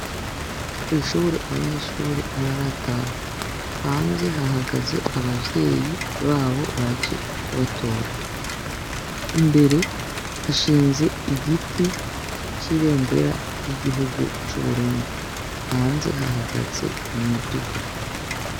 Kw'ishure abanyeshure ntibarataha. Hanze hahagaze abavyeyi babo baje kubatora. Imbere hashinze igiti c'ibendera y'igihugu c'Uburundi. Hanze hahagaze imiduga